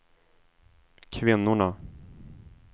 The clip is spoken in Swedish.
kvinnorna